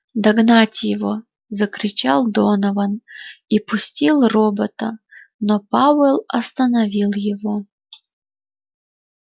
догнать его закричал донован и пустил робота но пауэлл остановил его